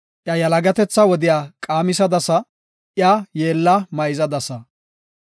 Iya yalagatetha wodiya qaamisadasa; iya yeella mayzadasa. Salaha